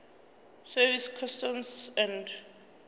service customs and